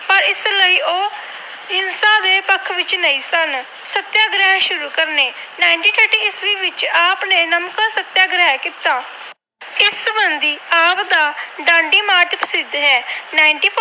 ਹੱਕ ਵਿੱਚ ਨਹੀਂ ਸਨ। ਸਤਿਆਗ੍ਰਹਿ ਸ਼ੁਰੂ ਕਰਨੇ - ਉਨੀ ਸੌ ਤੀਹ ਵਿੱਚ ਆਪ ਨੇ ਨਮਕ ਸਤਿਆਗ੍ਰਹਿ ਕੀਤਾ। ਆਪ ਦਾ ਡਾਂਡੀ March ਪ੍ਰਸਿੱਧ ਹੈ। ਉਨੀ ਸੌ ਚਾਲੀ